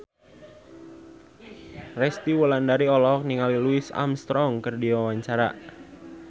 Resty Wulandari olohok ningali Louis Armstrong keur diwawancara